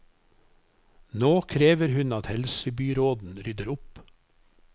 Nå krever hun at helsebyråden rydder opp.